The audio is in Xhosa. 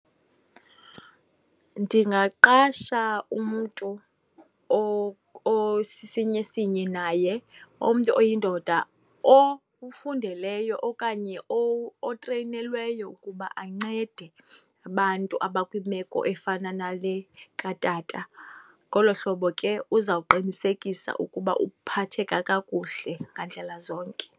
Ndingaqasha umntu osisinyi esinye naye, umntu oyindoda okufundeleyo okanye otreyinelweyo ukuba ancede abantu abakwimeko efana nale katata. Ngolo hlobo ke uzawuqinisekisa ukuba uphatheka kakuhle ngandlela zonke.